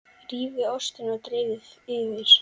Rífið ostinn og dreifið yfir.